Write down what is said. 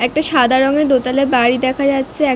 একটা সাদা রঙের দোতলা বাড়ি দেখা যাচ্ছে এক--